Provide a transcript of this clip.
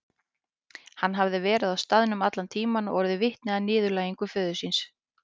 Hann hafði verið á staðnum allan tíman og orðið vitni að niðurlægingu föður síns.